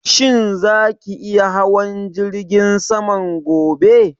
Shin za ki iya hawan jirgin saman gobe?